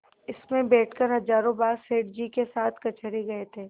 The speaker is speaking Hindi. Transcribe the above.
इसमें बैठकर हजारों बार सेठ जी के साथ कचहरी गये थे